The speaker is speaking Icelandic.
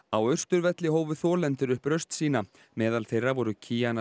á Austurvelli hófu þolendur upp raust sína meðal þeirra voru